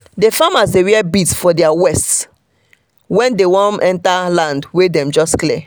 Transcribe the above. the farmers dey wear beads for their wrists when dem wan enter land wey dem just clear.